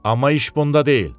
Amma iş bunda deyil.